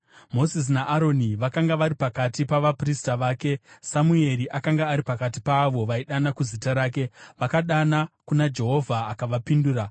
Mozisi naAroni vakanga vari pakati pavaprista vake, Samueri akanga ari pakati paavo vaidana kuzita rake, vakadana kuna Jehovha akavapindura.